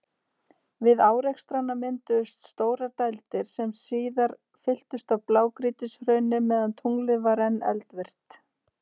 Við árekstrana mynduðust stórar dældir, sem síðar fylltust af blágrýtishrauni meðan tunglið var enn eldvirkt.